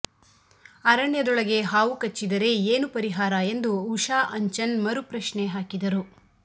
ಅರಣ್ಯದೊಳಗೆ ಹಾವು ಕಚ್ಚಿದರೆ ಏನು ಪರಿಹಾರ ಎಂದು ಉಷಾ ಅಂಚನ್ ಮರು ಪ್ರಶ್ನೆ ಹಾಕಿದರು